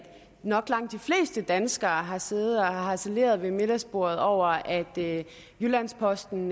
nok langt de fleste danskere har siddet og harceleret ved middagsbordet over at jyllands posten